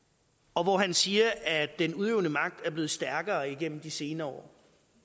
og hvor han siger at den udøvende magt er blevet stærkere igennem de senere år